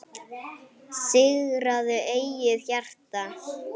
Sigraðu eigið hjarta